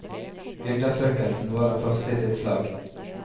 Undersøkelsen var den første i sitt slag.